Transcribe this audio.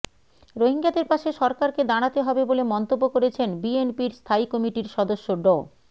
রোহিঙ্গাদের পাশে সরকারকে দাঁড়াতে হবে বলে মন্তব্য করেছেন বিএনপির স্থায়ী কমিটির সদস্য ড